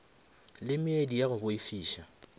le meedi ya go boifiša